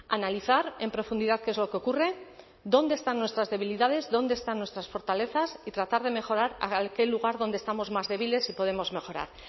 analizar en profundidad qué es lo que ocurre dónde están nuestras debilidades dónde están nuestras fortalezas y tratar de mejorar aquel lugar donde estamos más débiles y podemos mejorar